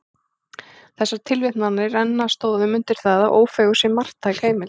Þessar tilvitnanir renna traustum stoðum undir það, að Ófeigur sé marktæk heimild.